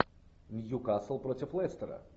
ньюкасл против лестера